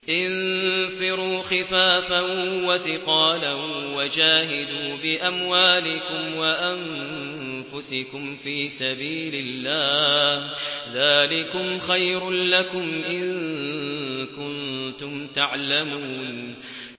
انفِرُوا خِفَافًا وَثِقَالًا وَجَاهِدُوا بِأَمْوَالِكُمْ وَأَنفُسِكُمْ فِي سَبِيلِ اللَّهِ ۚ ذَٰلِكُمْ خَيْرٌ لَّكُمْ إِن كُنتُمْ تَعْلَمُونَ